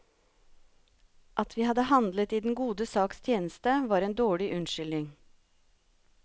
At vi hadde handlet i den gode saks tjeneste, var en dårlig unnskyldning.